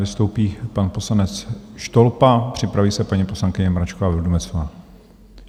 Vystoupí pan poslanec Štolpa, připraví se paní poslankyně Mračková Vildumetzová.